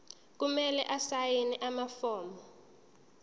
kumele asayine amafomu